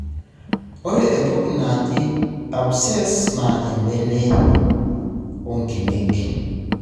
ore entoki naaji abscess na embene onkimek.